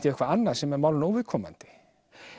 á eitthvað annað sem er málinu óviðkomandi